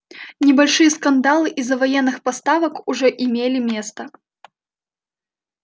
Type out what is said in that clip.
небольшие скандалы из-за военных поставок уже имели место